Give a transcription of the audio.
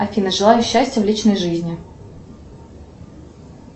афина желаю счастья в личной жизни